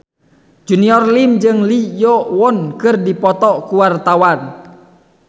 Junior Liem jeung Lee Yo Won keur dipoto ku wartawan